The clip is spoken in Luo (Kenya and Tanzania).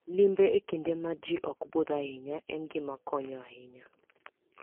Limbe e kinde ma ji ok budh ahinya en gima konyo ahinya.